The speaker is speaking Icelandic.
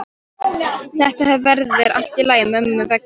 Þetta verður allt í lagi mömmu vegna.